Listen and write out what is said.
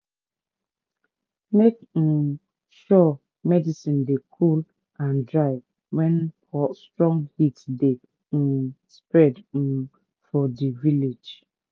make um sure medicin dey cool and dry wen strong heat dey um spread um for di village.